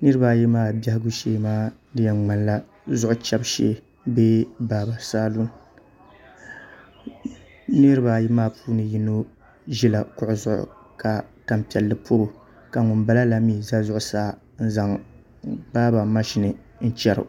niraba ayi maa biɛhagu shee maa di yɛn ŋmanila zuɣu chɛbu shee bee baaba salun niraba ayi maa puuni yino ʒila kuɣu zuɣu ka tanpiɛlli pobo ka ŋunbala la mii ʒɛ zuɣusaa n zaŋ baaba mashin n chɛro